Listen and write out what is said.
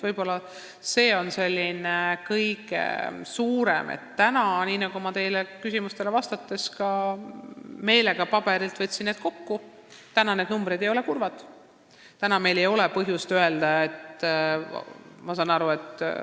Ma lugesin teie küsimustele vastates meelega paberilt numbreid maha ja võtsin neid kokku, sest tahan öelda, et täna ei ole need numbrid kurvad.